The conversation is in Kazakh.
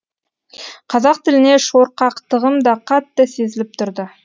қазақ тіліне шорқақтығым да қатты сезіліп тұрды